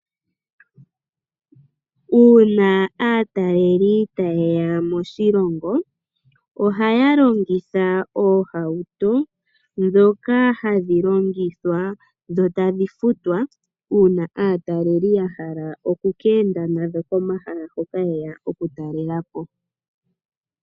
UUna aataleli tayeya moshilongo ohaya longitha oohauto dhoka hadhi longithwa dho tadhi futwa uuna aataleli yahala okukenda nadho komahala hoka yeya okutalela po.